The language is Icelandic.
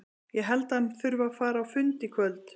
Ég held að hann þurfi að fara á fund í kvöld.